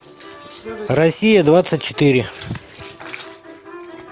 россия двадцать четыре